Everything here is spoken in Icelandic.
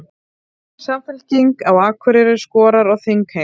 Samfylking á Akureyri skorar á þingheim